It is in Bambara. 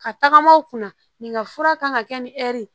Ka tagama u kunna nin fura kan ka kɛ ni hɛri ye